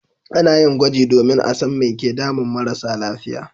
A na yin gwaji domin a san mai ke damun marasa lafiya